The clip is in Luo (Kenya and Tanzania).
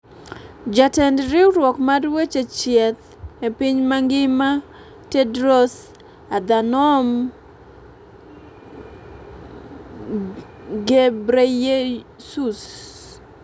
Jatend Riwruok mar weche chieth e Piny mangima Tedros Adhanom Ghebreyesus,